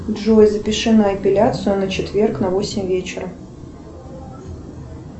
джой запиши на эпиляцию на четверг на восемь вечера